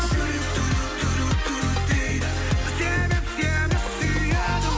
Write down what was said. жүрек дейді себеп сені сүйеді